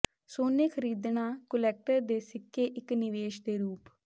ਸੋਨੇ ਖ਼ਰੀਦਣਾ ਕੁਲੈਕਟਰ ਦੇ ਸਿੱਕੇ ਇੱਕ ਨਿਵੇਸ਼ ਦੇ ਰੂਪ